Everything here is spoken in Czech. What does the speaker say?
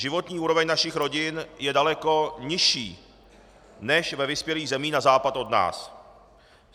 Životní úroveň našich rodin je daleko nižší než ve vyspělých zemích na západ od nás.